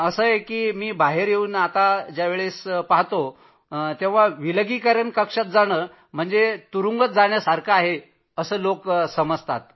असं आहे की मी बाहेर येऊन पहातो तेव्हा विलगीकरण कक्षात जाणं म्हणजे जणू तुरूंगात जाण्यासारखं आहे असा विचार लोक करू लागले आहेत